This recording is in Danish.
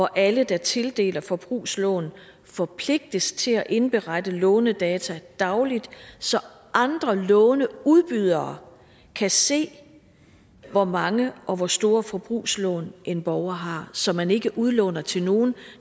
alle der tildeler forbrugslån forpligtes til at indberette lånedata i dagligt så andre låneudbydere kan se hvor mange og hvor store forbrugslån en borger har så man ikke udlåner til nogle